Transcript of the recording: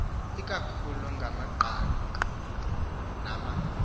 ikakhulu ngamagqabi nama